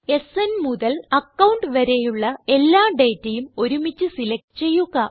സ്ന് മുതൽ അക്കൌണ്ട് വരെയുളള എല്ലാ ഡേറ്റയും ഒരുമിച്ച് സിലക്റ്റ് ചെയ്യുക